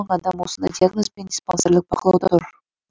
адам осындай диагнозбен диспансерлік бақылауда тұр